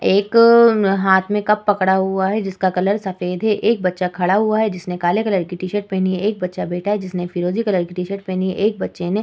एक हाथ में कप पकड़ा हुआ है जिसका कलर सफेद है। एक बच्चा खड़ा हुआ है जिसने काले कलर की टी-शर्ट पहनी हुई है। एक बच्चा बैठा है जिसने फिरोजी कलर की टी-शर्ट पहनी है। एक बच्चे ने --